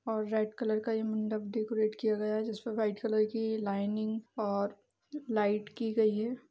और red colour का मंडप डेकोरेट किया गया है जिसपे वाइट कलर की लाइनिंग और लाइट की गयी है।